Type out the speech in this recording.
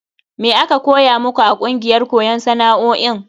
Me aka koya muku a kungiyar koyon sana'o'in?